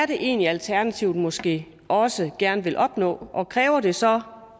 det egentlig er alternativet måske også gerne vil opnå og kræver det så